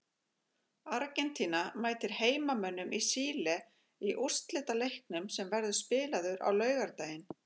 Argentína mætir heimamönnum í Síle í úrslitaleiknum sem verður spilaður á laugardaginn.